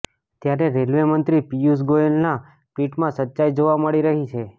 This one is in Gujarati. ત્યારે રેલવેમંત્રી પિયુષ ગોયલના ટ્વીટમાં સચ્ચાઈ જોવા મળી રહી છે